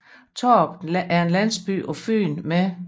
Tårup er en landsby på Fyn med